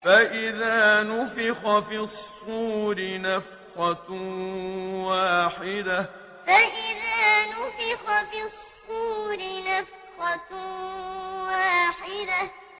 فَإِذَا نُفِخَ فِي الصُّورِ نَفْخَةٌ وَاحِدَةٌ فَإِذَا نُفِخَ فِي الصُّورِ نَفْخَةٌ وَاحِدَةٌ